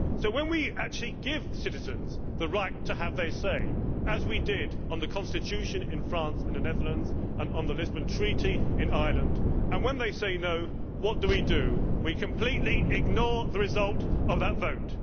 So, when we actually give citizens the right to have their say as we did on the Constitution in France and the Netherlands and on the Lisbon Treaty in Ireland and they say no', what do we do? We completely ignore the result of the vote!